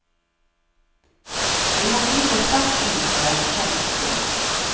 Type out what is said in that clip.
Vi må gripe sterkt inn før det er for sent, sier han.